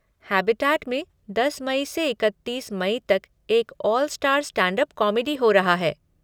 Habitat में दस मई से इकत्तीस मई तक एक 'ऑल स्टार स्टैंडअप कॉमेडी' हो रहा है।